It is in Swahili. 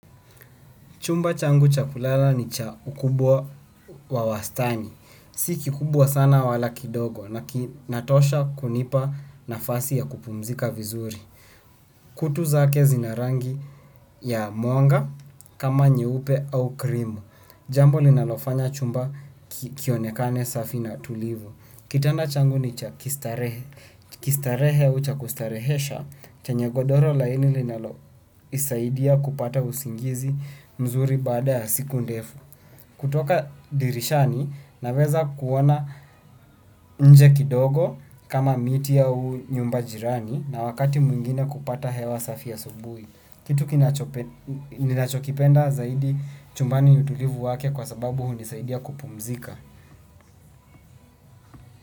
Chumba changu cha kulala ni cha ukubwa wa wastani. Si kikubwa sana wala kidogo na kinatosha kunipa nafasi ya kupumzika vizuri. Kutu zake zina rangi ya mwanga kama nyeupe au krimu. Jambo linalofanya chumba kionekane safi na tulivu. Kitanda changu nicha kistarehe au cha kustarehesha. Chenye godoro laini linalo nisaidia kupata usingizi mzuri baada ya siku ndefu. Kutoka dirishani naweza kuona nje kidogo kama miti au nyumba jirani na wakati mwingine kupata hewa safi asubuhi. Kitu ninachokipenda zaidi chumbani utulivu wake kwa sababu hundisaidia kupumzika.